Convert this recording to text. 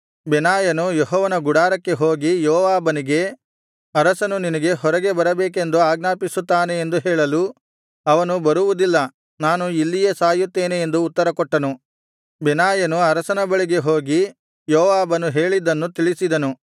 ಬೆನಾಯನು ಯೆಹೋವನ ಗುಡಾರಕ್ಕೆ ಹೋಗಿ ಯೋವಾಬನಿಗೆ ಅರಸನು ನಿನಗೆ ಹೊರಗೆ ಬರಬೇಕೆಂದು ಆಜ್ಞಾಪಿಸುತ್ತಾನೆ ಎಂದು ಹೇಳಲು ಅವನು ಬರುವುದಿಲ್ಲ ನಾನು ಇಲ್ಲಿಯೇ ಸಾಯುತ್ತೇನೆ ಎಂದು ಉತ್ತರಕೊಟ್ಟನು ಬೆನಾಯನು ಅರಸನ ಬಳಿಗೆ ಹೋಗಿ ಯೋವಾಬನು ಹೇಳಿದ್ದನ್ನು ತಿಳಿಸಿದನು